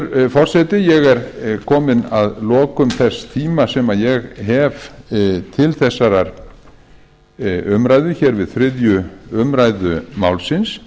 hæstvirtur forseti ég er kominn að lokum þess tíma sem ég hef til þessarar umræðu hér við þriðju umræðu málsins